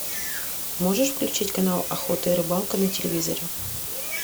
можешь включить канал охота и рыбалка на телевизоре